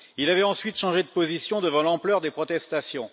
Il avait ensuite changé de position devant l'ampleur des protestations.